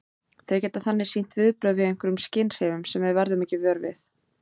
Þau geta þannig sýnt viðbrögð við einhverjum skynhrifum sem við verðum ekki vör við.